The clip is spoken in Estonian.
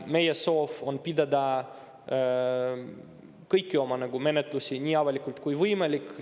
Meie soov on pidada kõiki oma menetlusi nii avalikult kui võimalik.